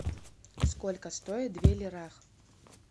сколько стоит две лирах